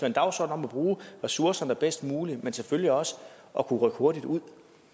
en dagsorden om at bruge ressourcerne bedst muligt men selvfølgelig også at kunne rykke hurtigt ud